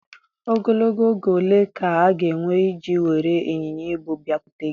Ogologo oge ole ka ọ ga-ewe iji were ịnyịnya ibu bịakwute gị?